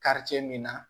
min na